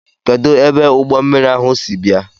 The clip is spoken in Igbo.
Kedụ ebe ụgbọmmiri ahụ si bịa?